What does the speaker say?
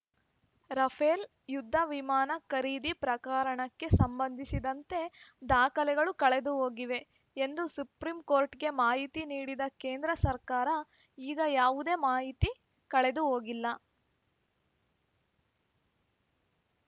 Rafale ಯುದ್ಧ ವಿಮಾನ ಖರೀದಿ ಪ್ರಕರಣಕ್ಕೆ ಸಂಬಂಧಿಸಿದಂತೆ ದಾಖಲೆಗಳು ಕಳೆದುಹೋಗಿವೆ ಎಂದು ಸುಪ್ರೀಂ ಕೋರ್ಟ್‌ಗೆ ಮಾಹಿತಿ ನೀಡಿದ ಕೇಂದ್ರ ಸರ್ಕಾರ ಈಗ ಯಾವುದೇ ಮಾಹಿತಿ ಕಳೆದುಹೋಗಿಲ್ಲ